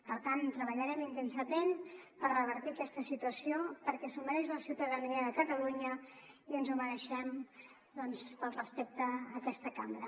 per tant treballarem intensament per revertir aquesta situació perquè s’ho mereix la ciutadania de catalunya i ens ho mereixem doncs pel respecte a aquesta cambra